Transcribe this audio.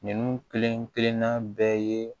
Ninnu kelen kelenna bɛɛ ye